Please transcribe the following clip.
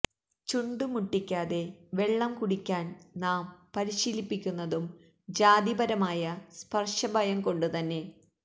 ചുണ്ടു മുട്ടിക്കാതെ വെള്ളം കുടിക്കാന് നാം പരിശീലിപ്പിക്കുന്നതും ജാതിപരമായ സ്പര്ശഭയം കൊണ്ടുതന്നെ